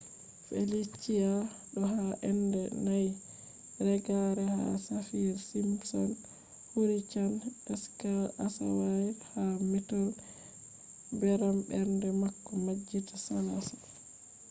felicia do ha enda 4 reggare ha saffir-simpson hurricane scale asawaire ha mettol beram bernde bako majjita salasa